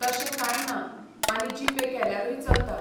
तशें कांंय ना आनी जीपे केल्यारूय चलता.